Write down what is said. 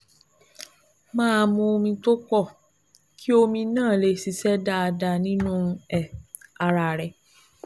Máa mu omi tó pọ̀ kí omi náà lè ṣiṣẹ́ dáadáa nínú um ara rẹ